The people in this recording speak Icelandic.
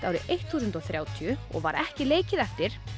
árið þúsund og þrjátíu og var ekki leikið eftir